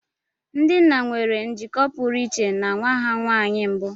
Ndị nna nwere njikọ pụrụ iche na nwa ha nwanyị mbụ.